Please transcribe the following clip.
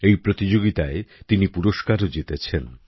এই প্রতিযোগিতায় তিনি পুরস্কারও জিতেছেন